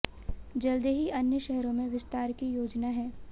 जल्द ही अन्य शहरों में विस्तार की योजना है